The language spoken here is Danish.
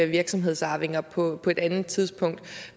virksomhedsarvinger på et andet tidspunkt